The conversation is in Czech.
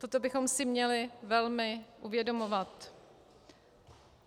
Toto bychom si měli velmi uvědomovat.